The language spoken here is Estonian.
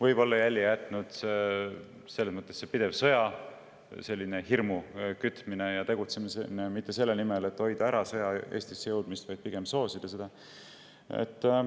Võib-olla on oma jälje jätnud pidev sõjahirmu kütmine ja tegutsemine mitte selle nimel, et sõja jõudmist Eestisse ära hoida, vaid pigem selle soosimine.